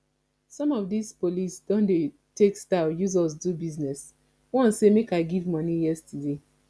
some of dis police don dey take style use us do business one say make i give money yesterday